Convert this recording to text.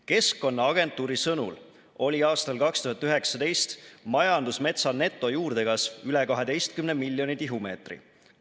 Keskkonnaagentuuri sõnul oli aastal 2019 majandusmetsa netojuurdekasv üle 12 miljoni tihumeetri.